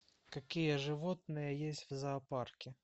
какие животные есть в зоопарке